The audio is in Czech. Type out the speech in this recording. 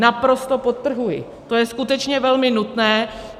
Naprosto podtrhuji, to je skutečně velmi nutné.